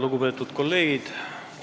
Lugupeetud kolleegid!